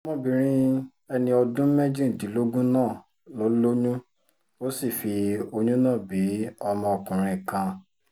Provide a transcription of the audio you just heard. ọmọbìnrin ẹni ọdún méjìdínlógún náà ló lóyún ó sì fi oyún náà bí ọmọkùnrin kan